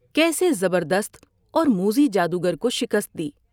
کیسے زبردست اور موذی جادوگر کو شکست دی ۔